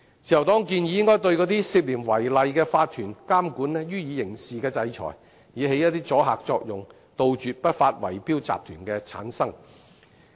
自由黨建議應該對涉嫌違例的法團予以刑事制裁，以起阻嚇作用，杜絕不法圍標集團的產生。